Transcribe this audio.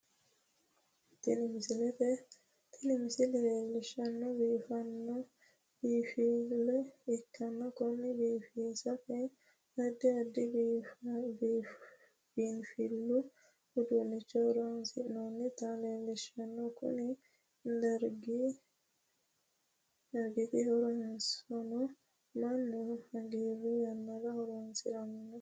Tinni misile leelishanohu biinfile ikanna Kone biifissate addi addi biinfilu uduunicho horoonsi'nonnita leelishano konni dargiti horosino Manu hagiiru yanara horoonsirano